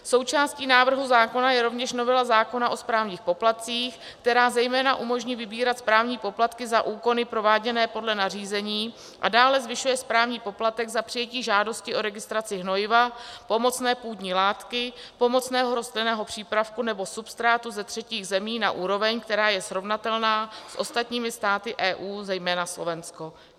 Součástí návrhu zákona je rovněž novela zákona o správních poplatcích, která zejména umožní vybírat správní poplatky za úkony prováděné podle nařízení, a dále zvyšuje správní poplatek za přijetí žádosti o registraci hnojiva, pomocné půdní látky, pomocného rostlinného přípravku nebo substrátu ze třetích zemí na úroveň, která je srovnatelná s ostatními státy EU, zejména Slovenskem.